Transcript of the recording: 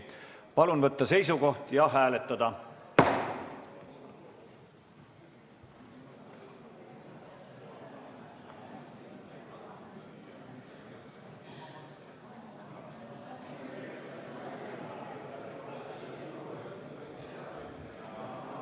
Palun võtta seisukoht ja hääletada!